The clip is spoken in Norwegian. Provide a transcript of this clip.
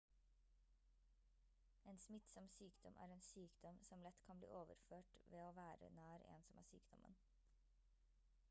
en smittsom sykdom er en sykdom som lett kan bli overført ved å være nær en som har sykdommen